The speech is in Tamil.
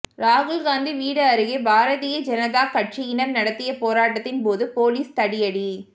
ராகுல்காந்தி வீடு அருகே பாரதிய ஜனதா கட்சியினர் நடத்திய போராட்டத்தின் போது போலீஸ் தடியடி